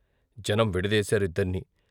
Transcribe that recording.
జనం విడదీశారు ఇద్దర్నీ.